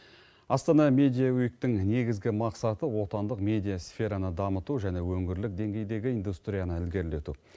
астана медия уиктың негізгі мақсаты отандық медиа сфераны дамыту және өңірлік деңгейдегі индустрияны ілгерілету